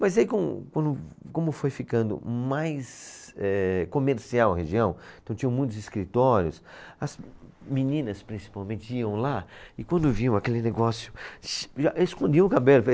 Mas aí, com, quando, como foi ficando mais eh comercial a região, então tinham muitos escritórios, as meninas, principalmente, iam lá e quando viam aquele negócio, xii, já escondiam o cabelo.